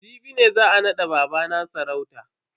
Jibi ne za a nada babana sarauta.